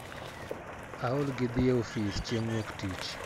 Aol gi dhi e ofis chieng wok tich.